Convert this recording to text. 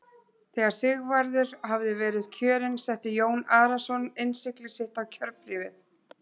Þegar Sigvarður hafði verið kjörinn setti Jón Arason innsigli sitt á kjörbréfið.